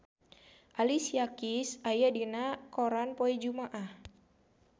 Alicia Keys aya dina koran poe Jumaah